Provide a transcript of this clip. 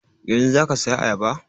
Yanzun za ka saya ayaba?